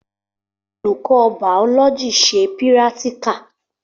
Olùkọ́ bàọlọjì ṣe pírátíkà